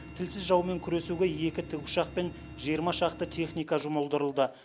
тілсіз жаумен күресуге екі тікұшақ пен жиырма шақты техника жұмылдырылды